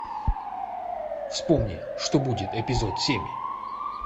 вспомни что будет эпизод семь